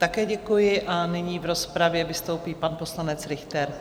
Také děkuji a nyní v rozpravě vystoupí pan poslanec Richter.